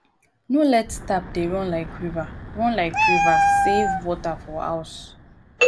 no let tap dey run like river run like river save water for house um